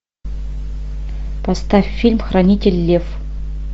поставь фильм хранитель лев